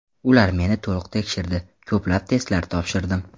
Ular meni to‘liq tekshirdi, ko‘plab testlar topshirdim.